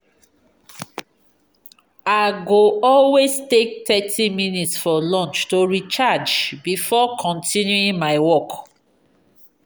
i go always take thirty minutes for lunch to recharge before continuing my work.